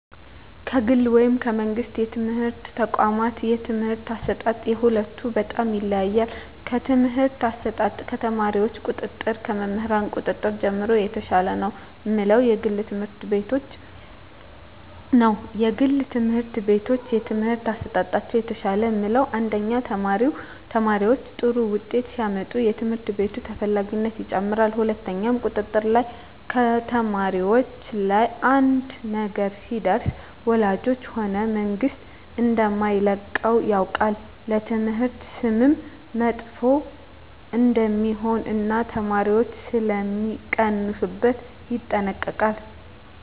ከግል ወይም ከመንግሥት የትምህርት ተቋዋማት የትምህርት አሰጣጥ የሁለቱ በጣም ይለያያል ከትምህርት አሰጣጥ ከተማሪዎች ቁጥጥር ከመምህር ቁጥጥር ጀምሮ የተሻለ ነው ምለው የግል ትምህርት ቤቶችን ነዉ የግል ትምህርት ቤቶች የትምህርት አሠጣጣቸው የተሻለ ምለው አንደኛ ተማሪዎች ጥሩ ውጤት ሲያመጡ የትምህርት ቤቱ ተፈላጊነት ይጨምራል ሁለትኛው ቁጥጥር ላይ ከተማሪዎች ላይ አንድ ነገር ቢደርስ ወላጆች ሆነ መንግስት እደማይለቀው ያውቃል ለትምህርት ስምም መጥፎ እደሜሆን እና የተማሪዎች ሥለሚቀንሡበት ይጠነቀቃሉ